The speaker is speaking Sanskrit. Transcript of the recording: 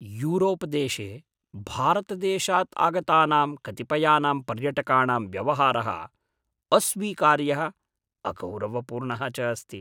यूरोपदेशे भारतदेशात् आगतानां कतिपयानां पर्यटकाणां व्यवहारः अस्वीकार्यः अगौरवपूर्णः च अस्ति।